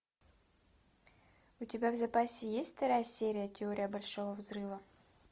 у тебя в запасе есть вторая серия теория большого взрыва